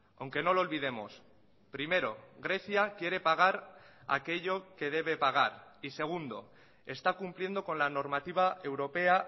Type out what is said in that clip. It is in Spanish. aunque no lo olvidemos primero grecia quiere pagar aquello que debe pagar y segundo está cumpliendo con la normativa europea